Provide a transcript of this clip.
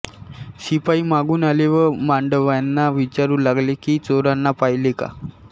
शिपाई मागून आले व मांडव्यांना विचारू लागले की चोरांना पाहिले का